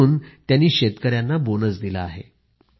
आणि म्हणून त्यांनी शेतकऱ्यांना बोनस दिला आहे